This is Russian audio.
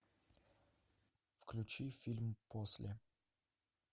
включи фильм после